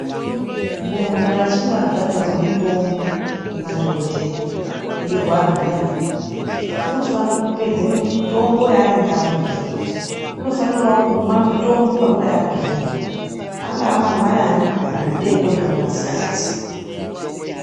Muntu kana achinge abhalerwa mitombo nemadhokoteya eirwara zviyani unofana kupedza mitombo yanenge abhuyirwa unofanirawo kumwa mitombo panguva yabhuirwa angava mangwanani kana madekoni kana masikati .